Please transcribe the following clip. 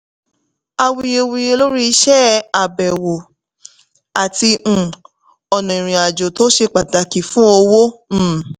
àwuyewuye lórí iṣẹ́ àbẹ̀wò àti um ọ̀nà ìrìnàjò tó ṣe pàtàkì fún owó. um